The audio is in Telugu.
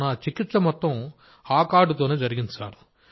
నా చికిత్స మొత్తం ఆ కార్డుతోనే జరిగింది సార్